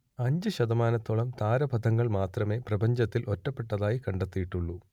അഞ്ച് ശതമാനത്തോളം താരാപഥങ്ങൾ മാത്രമേ പ്രപഞ്ചത്തിൽ ഒറ്റപ്പെട്ടതായി കണ്ടെത്തിയിട്ടുള്ളൂ